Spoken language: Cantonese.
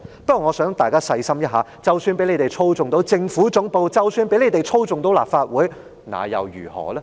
不過，我想大家細心思考一下，即使他們操控了政府總部和立法會，那又如何？